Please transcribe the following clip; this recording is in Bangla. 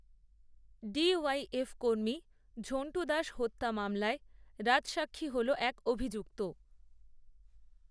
ডি ওয়াইএফ কর্মী ঝণ্টু দাস হত্যা মামলায় রাজসাক্ষী হল এক অভিযুক্ত